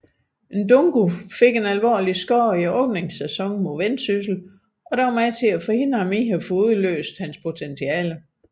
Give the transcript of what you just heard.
Ndungu fik en alvorlig skade i sæsonåbningen mod Vendsyssel som var med til at forhindre ham i få udløst potentialitet